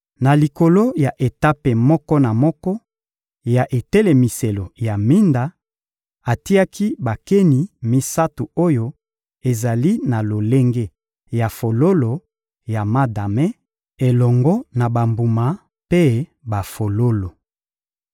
Na likolo ya etape moko na moko ya etelemiselo ya minda, atiaki bakeni misato oyo ezali na lolenge ya fololo ya madame, elongo na bambuma mpe bafololo.